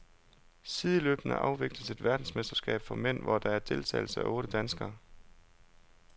Sideløbende afvikles et verdensmesterskab for mænd, hvor der er deltagelse af otte danskere.